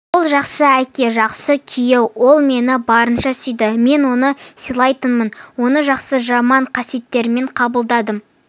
ол жақсы әке жақсы күйеу ол мені барынша сүйді мен оны сыйлайтынмын оны жақсы-жаман қасиеттерімен қабылдадым